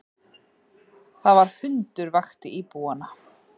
Það var hundur vakti íbúana